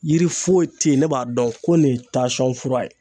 Yiri foyi te yen ne b'a dɔn ko nin ye tasɔn fura ye